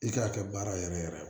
I k'a kɛ baara yɛrɛ yɛrɛ